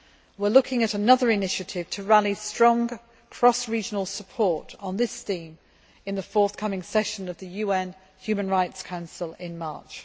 We are considering another initiative to rally strong cross regional support on this theme at the forthcoming session of the UN Human Rights Council in March.